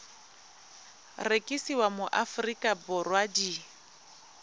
rekisiwa mo aforika borwa di